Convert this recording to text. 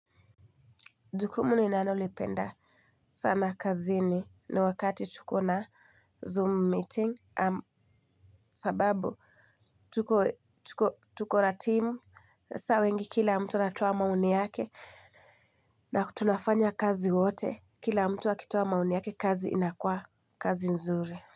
Jukumu ninalo lipenda. Sana kazini ni wakati tuko na zoom meeting sababu tuko tuko na team sasa wengi kila mtu anatoa maoni yake. Na tunafanya kazi wote kila mtu akitoa maoni yake kazi inakua kazi nzuri.